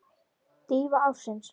Dýfa ársins?